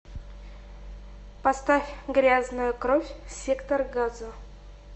поставь грязная кровь сектор газа